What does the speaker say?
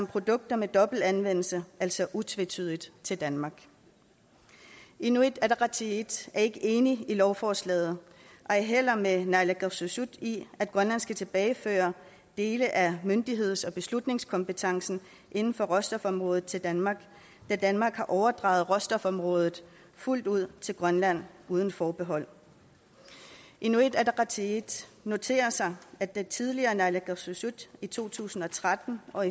produkter med dobbelt anvendelse altså utvetydigt til danmark inuit ataqatigiit er ikke enig i lovforslaget og ej heller med naalakkersuisut i at grønland skal tilbageføre dele af myndigheds og beslutningskompetencen inden for råstofområdet til danmark da danmark har overdraget råstofområdet fuldt ud til grønland uden forbehold inuit ataqatigiit noterer sig at det tidligere naalakkersuisut i to tusind og tretten og